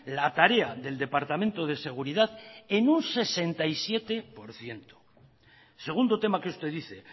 la tarea del departamento de seguridad en un sesenta y siete por ciento segundo tema que usted dice